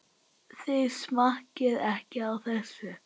Þið smakkið ekki á þessu!